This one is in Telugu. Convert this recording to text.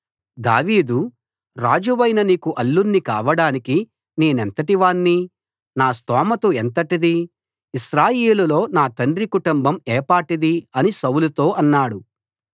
దావీదు రాజువైన నీకు అల్లుణ్ణి కావడానికి నేనెంతటివాణ్ణి నా స్తోమతు ఎంతటిది ఇశ్రాయేలులో నా తండ్రి కుటుంబం ఏపాటిది అని సౌలుతో అన్నాడు